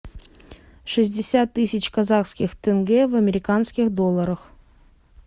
шестьдесят тысяч казахских тенге в американских долларах